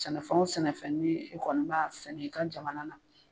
Sɛnɛfɛnw o sɛnɛfɛn kɔni b'a sɛnɛ i ka jamana na.